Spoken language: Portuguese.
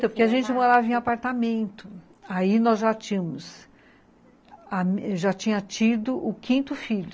Porque a gente morava em apartamento, aí nós já tínhamos, já tinha tido o quinto filho.